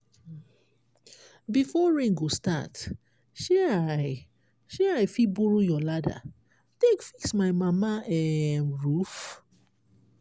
before rain go start shey i shey i fit borrow your ladder take fix my mama um roof?